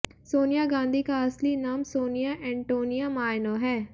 सोनिया गांधी का असली नाम सोनिया एंटोनिया मायनो है